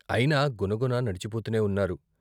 అయినా గునగున నడిచిపోతూనే ఉన్నారు.